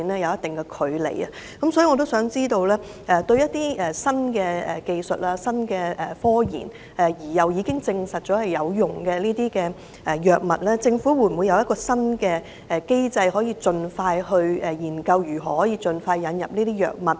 因此，我想知道，對於一些經新科研技術證實有用的新藥物，政府會否有一套新機制研究如何盡快引入呢？